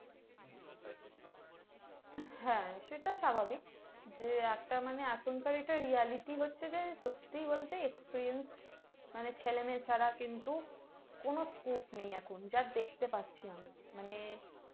হ্যাঁ সেটা স্বাভাবিক যে একটা মানে এখনকার এটা reality হচ্ছে যে সত্যি বলতে experienced মানে ছেলে মেয়ে ছাড়া কিন্তু কোনো scope নেই এখন যে দেখতে পাচ্ছি মানে